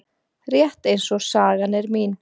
Rétt eins og sagan er mín.